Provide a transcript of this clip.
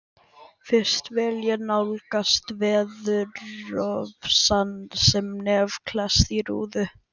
Fyrst vil ég nálgast veðurofsann með nef klesst við rúðu.